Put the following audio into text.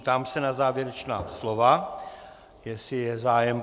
Ptám se na závěrečná slova, jestli je zájem.